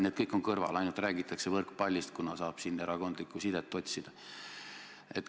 Need kõik on kõrvale jäetud, räägitakse ainult võrkpallist, kuna siin annab erakondlikku sidet otsida.